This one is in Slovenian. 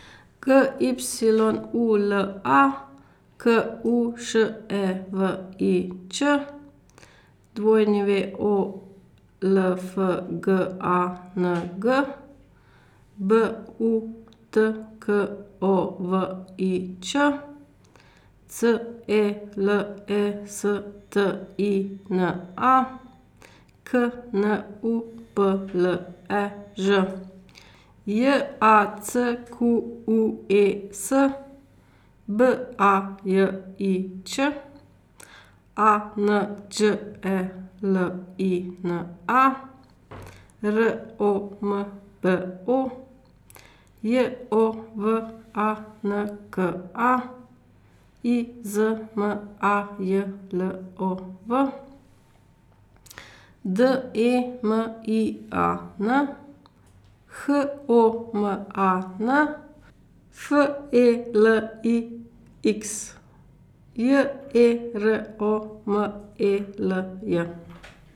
G Y U L A, K U Š E V I Ć; W O L F G A N G, B U T K O V I Č; C E L E S T I N A, K N U P L E Ž; J A C Q U E S, B A J I Ć; A N Đ E L I N A, R O M B O; J O V A N K A, I Z M A J L O V; D E M I A N, H O M A N; F E L I X, J E R O M E L J.